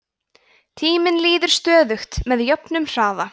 tíminn líður stöðugt með jöfnum hraða